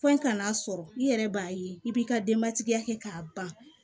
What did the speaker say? Fo ka n'a sɔrɔ i yɛrɛ b'a ye i b'i ka denbatigiya kɛ k'a ban